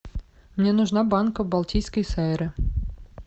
мне нужна банка балтийской сайры